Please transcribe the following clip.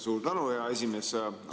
Suur tänu, hea esimees!